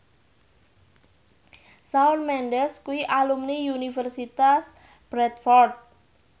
Shawn Mendes kuwi alumni Universitas Bradford